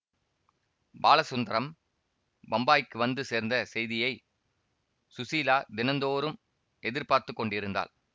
பாலசுந்தரம் பம்பாய்க்கு வந்து சேர்ந்த செய்தியை ஸுசீலா தினந்தோறும் எதிர் பார்த்து கொண்டிருந்தாள்